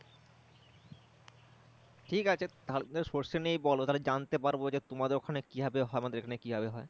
ঠিক আছে তাহলে সরষে নিয়েই বল তাহলে জানতে পারবো তোমাদের ওখানে কিভাবে হয় আমাদের এখানে কি ভাবে হয়